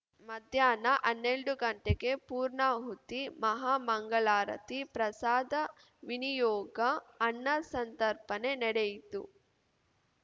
ಮಧ್ಯಾಹ್ನ ಹನ್ನೆರಡು ಗಂಟೆಗೆ ಪೂರ್ಣಾಹುತಿ ಮಹಾಮಂಗಳಾರತಿ ಪ್ರಸಾದ ವಿನಿಯೋಗ ಅನ್ನ ಸಂತರ್ಪಣೆ ನಡೆಯಿತು